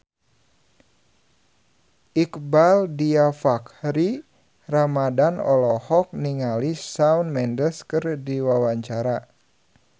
Iqbaal Dhiafakhri Ramadhan olohok ningali Shawn Mendes keur diwawancara